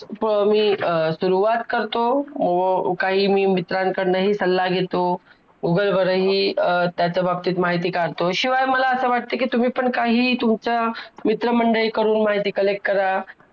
अं सुरवात करतो व मी काही मित्रांकडंनं हि सल्ला घेतो, अं Google वरही त्याच्या बाबतीत माहिती काढतो तो शिवाय मला असं वाटते कि तुम्ही पण काही तुमच्या मित्र मंडळी कडून माहिती collect करा